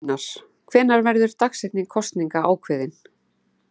Gunnar: Hvenær verður dagsetning kosninga ákveðin?